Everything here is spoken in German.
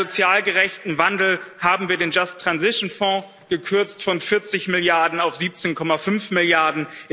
Für einen sozial gerechten Wandel haben wir den gekürzt von 40 Milliarden auf 17,5 Milliarden.